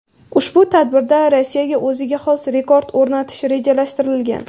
Ushbu tadbirda Rossiyada o‘ziga xos rekord o‘rnatishi rejalashtirilgan.